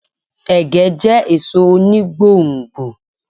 Ẹ̀gẹ́ jẹ́ èso oni gbò n gbò